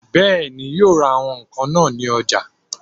Bẹ́ẹ̀ni, yóò ra àwọn ǹkan náà ní ọjà